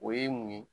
O ye mun ye